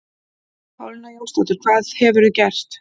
Pálína Jónsdóttir, hvað hefurðu gert?